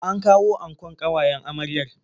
An kawo ankon ƙawayen amryar.